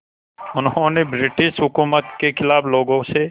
उन्होंने ब्रिटिश हुकूमत के ख़िलाफ़ लोगों से